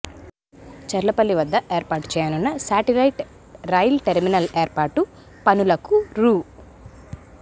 చర్లపల్లి వద్ద ఏర్పాటు చేయనున్న శాటిలైట్ రైల్ టెర్మినల్ ఏర్పాటు పనులకు రూ